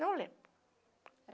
Não lembro.